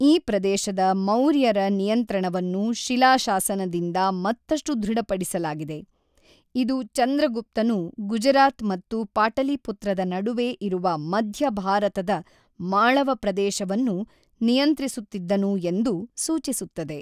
ಈ ಪ್ರದೇಶದ ಮೌರ್ಯರ ನಿಯಂತ್ರಣವನ್ನು ಶಿಲಾ ಶಾಸನದಿಂದ ಮತ್ತಷ್ಟು ದೃಢಪಡಿಸಲಾಗಿದೆ, ಇದು ಚಂದ್ರಗುಪ್ತನು ಗುಜರಾತ್ ಮತ್ತು ಪಾಟಲಿಪುತ್ರದ ನಡುವೆ ಇರುವ ಮಧ್ಯ ಭಾರತದ ಮಾಳವ ಪ್ರದೇಶವನ್ನು ನಿಯಂತ್ರಿಸುತ್ತಿದ್ದನು ಎಂದು ಸೂಚಿಸುತ್ತದೆ.